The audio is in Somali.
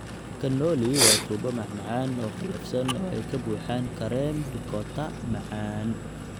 Cannoli waa tubo macmacaan oo qallafsan oo ay ka buuxaan kareem ricotta macaan.